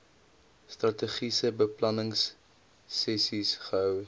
strategiese beplanningsessies gehou